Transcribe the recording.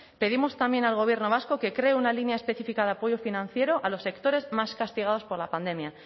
pedimos también al gobierno vasco que cree una línea específica de apoyo financiero a los sectores más castigados por la pandemia